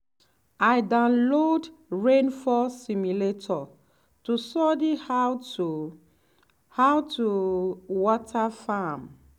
i download rainfall simulator to study how to how to water farm.